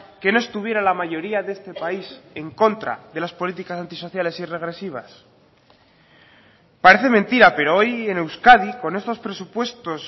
que no estuviera la mayoría de este país en contra de las políticas antisociales y regresivas parece mentira pero hoy en euskadi con estos presupuestos